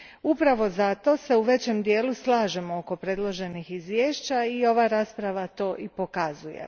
Upravo se zato u većem dijelu slažem oko predloženih izvješća i ova rasprava to i pokazuje.